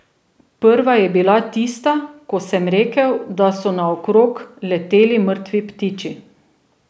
Prva je bila tista, ko sem rekel, da so naokrog leteli mrtvi ptiči.